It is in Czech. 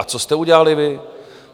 A co jste udělali vy?